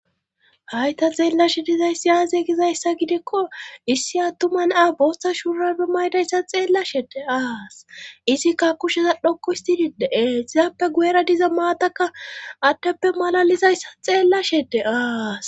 Hayta xeellashe dizayssi aaze gizayssa gidikko issi attuman a bosta shuurapbe maydayssa xeellashede aas izikka kusheza dhokko histididee sizaappe guera diza maatakka attappe malalizayssa xeellashede aas